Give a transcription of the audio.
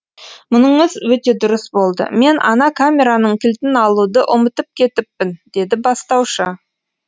мұныңыз өте дұрыс болды мен ана камераның кілтін алуды ұмытып кетіппін деді бастаушы